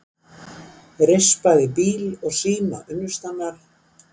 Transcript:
Rispaði bíl og síma unnustunnar